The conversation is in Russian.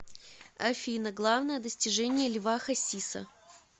афина главное достижение льва хасиса